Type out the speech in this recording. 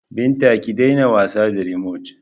Binta, ki daina wasa da rimot!